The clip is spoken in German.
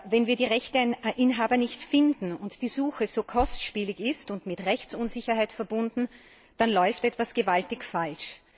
Wenn wir die Rechteinhaber nicht finden und die Suche so kostspielig und mit Rechtsunsicherheit verbunden ist, dann läuft etwas gewaltig falsch.